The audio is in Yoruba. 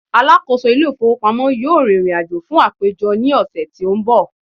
alákóso ilé ifowópamọ́ yíò ririnajo fún àpéjọ ni ọsẹ ti o n bo